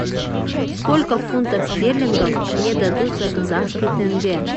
сколько фунтов стерлингов мне дадут за казахский тенге